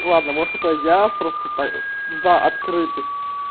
ладно может это я просто так за открытость